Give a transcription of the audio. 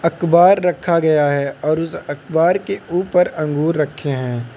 अकबार रखा गया है और उस अकबार के ऊपर अंगूर रखे हैं।